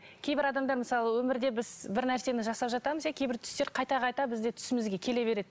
кейбір адамдар мысалы өмірде біз бір нәрсені жасап жатамыз иә кейбір түстер қайта қайта бізде түсімізге келе береді